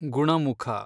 ಗುಣಮುಖ